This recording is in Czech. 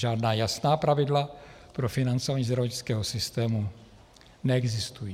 Žádná jasná pravidla pro financování zdravotnického systému neexistují.